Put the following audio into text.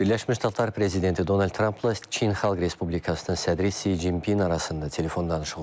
Birləşmiş Ştatlar prezidenti Donald Trampla Çin Xalq Respublikasının sədri Si Jinpin arasında telefon danışığı olub.